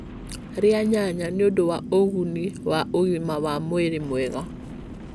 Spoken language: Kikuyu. Ria nyanya nĩ ũndũ wa ũguni wa ũgima wa mwĩrĩ mwega.